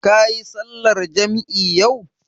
Kayi sallar jam'i yau?